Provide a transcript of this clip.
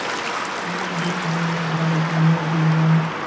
ஆமாம் அபிஷா நான் நல்லா இருக்கேன். நீ எப்படி இருக்க